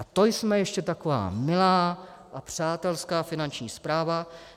A to jsme ještě taková milá a přátelská Finanční správa.